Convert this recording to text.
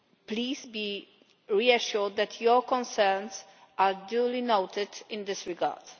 Please be reassured that your concerns are duly noted in this regard.